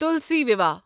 تُلسی ویواہ